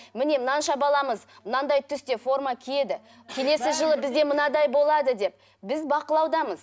міне мынанша баламыз мынандай түсте форма киеді келесі жылы бізде мынадай болады деп біз бақылаудамыз